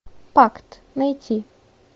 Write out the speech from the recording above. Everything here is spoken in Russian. пакт найти